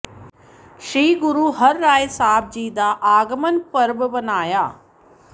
ਸ੍ਰੀ ਗੁਰੂ ਹਰਿ ਰਾਇ ਸਾਹਿਬ ਜੀ ਦਾ ਆਗਮਨ ਪੁਰਬ ਮਨਾਇਆ